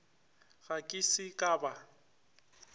ge ke se ka ba